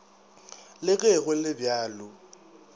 le ge go le bjalo